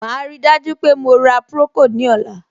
Màá ríi dájú pé mo ra procold ní ọ̀la.